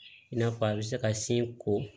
I n'a fɔ a bɛ se ka sin ko